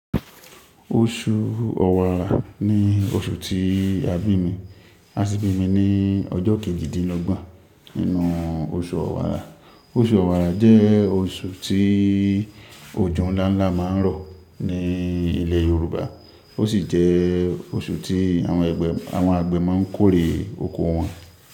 Oṣu Ọ̀wàrà ní oṣù tí a bí mi, a sì bí mi ní ọjọ kejidinlogbon ninú oṣù Ọ̀wàrà. Oṣù Ọ̀wàrà jẹ́ oṣù tí òjò ńlá ńlá máa ń rọ̀ ní ilẹ̀ Yorùbá. Ó sì jẹ́ oṣù tí àwọn àgbẹ̀ máa ń kórè oko wọn.